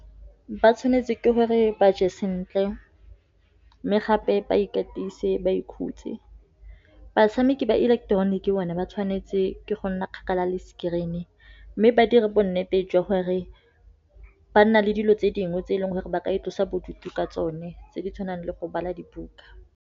Ba tshwanetse ke gore ba je sentle, mme gape ba ikatise ba ikhutse. Batshameki ba ileketeroniki bone ba tshwanetse ke go nna kgakala le screen, mme ba dira bo nnete jwa gore ba nna le dilo tse dingwe, tse e leng gore ba ka itlosa bodutu ka tsone, tse di tshwanang le go bala dibuka.